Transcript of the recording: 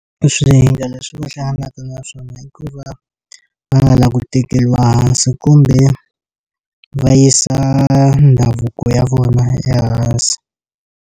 Swihinga leswi va hlanganaka na swona hikuva va nga lavi ku tekeriwa hansi kumbe va yisa ndhavuko ya vona ya ehansi.